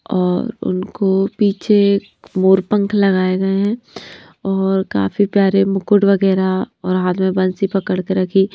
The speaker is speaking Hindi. और उनको पीछे मोर पंख लगाए गए हैं और काफ़ी प्यारे मुकुट वगैरह और हाथ में बंसी पकड़ के रखी --